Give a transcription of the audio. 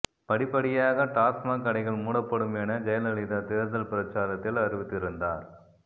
படிப்படியாக டாஸ்மாக் கடைகள் மூடப்படும் என ஜெயலலிதா தேர்தல் பிரச்சாரத்தில் அறிவித்திருந்தார்